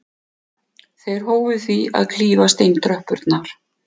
Þeir hófu því að klífa steintröppurnar.